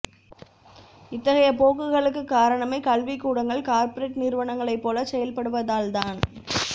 இத்தகைய போக்குகளுக்குக் காரணமே கல்விக் கூடங்கள் கார்ப்பரேட் நிறுவனங்களைப் போலச் செயல்படுவதால்தான்